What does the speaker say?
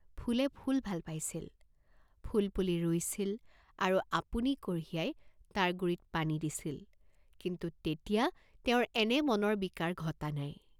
ফুলে ফুল ভাল পাইছিল, ফুলপুলি ৰুইছিল আৰু আপুনি কঢ়িয়াই তাৰ গুৰিত পানী দিছিল, কিন্তু তেতিয়া তেওঁৰ এনে মনৰ বিকাৰ ঘটা নাই।